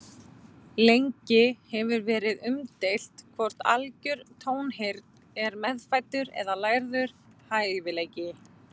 Lengi hefur verið umdeilt hvort algjör tónheyrn er meðfæddur eða lærður hæfileiki.